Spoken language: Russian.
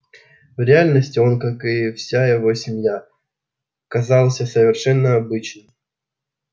в реальности он как и вся его семья казался совершенно обычным